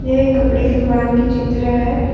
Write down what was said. एक कपड़े की दुकान के चित्र है।